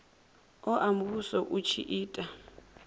oa muvhuso u tshi ita